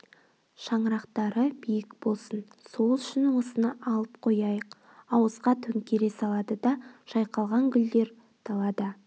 шаңырақтары биік болсын сол үшін осыны алып қояйық ауызға төңкере салады да жайқалған күлдер далада